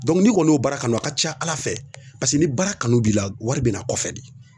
n'i kɔni y'o baara kanu a ka ca Ala fɛ ni baara kanu b'i la wari bɛna kɔfɛ de